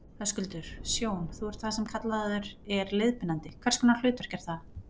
Höskuldur: Sjón, þú ert það sem kallaður er leiðbeinandi, hvers konar hlutverk er það?